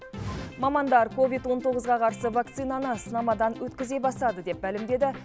мамандар ковид он тоғызға қарсы вакцинаны сынамадан өткізе бастады деп мәлімдеді